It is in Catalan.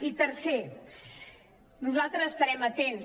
i tercer nosaltres estarem atents